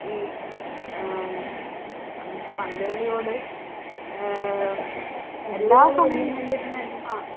ഈ അഹ് ഉം പ~പന്ത് കളിയോട് ആഹ് ഉം എല്ലാ സമയവും ഞാനിരുന്നു ക